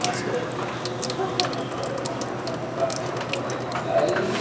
ଓହୋ। ଆଉ ଯୋଉ headmaster କଣ ତାଙ୍କୁ transfer କରିଦେଇଥିଲେ ସେ ଆଇଲେଣି ନା?